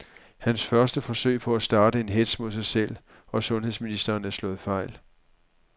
Hans første forsøg på at starte en hetz mod sig selv og sundheds ministeren er slået fejl.